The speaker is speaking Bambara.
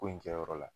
Ko in kɛyɔrɔ la